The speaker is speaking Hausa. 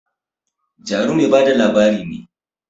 Jaru mai ba da labari ne